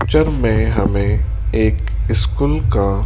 picture में हमें एक स्कूल का--